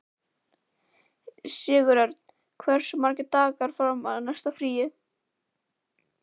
Sigurörn, hversu margir dagar fram að næsta fríi?